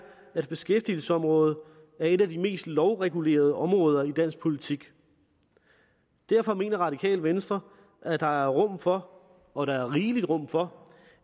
at beskæftigelsesområdet er et af de mest lovregulerede områder i dansk politik derfor mener radikale venstre at der er rum for og der er rigeligt rum for